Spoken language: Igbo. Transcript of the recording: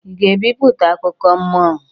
Ị ga-ebipụta akụkọ mmụọ?